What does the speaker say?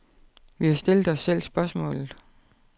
Vi har stillet os selv spørgsmålet.